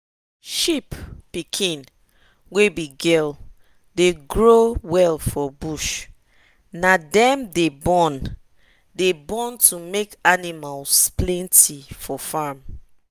sheep pikin wey be girl dey grow well for bush na dem dey born dey born to make animals plenty for farm